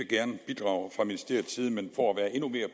bidrage fra ministeriets side men for at være endnu mere